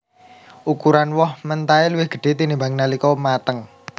Ukuran woh mentahé luwih gedhé tinimbang nalika mateng